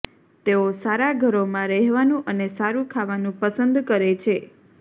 તેઓ સારા ઘરોમાં રહેવાનું અને સારું ખાવાનું પસંદ કરે છે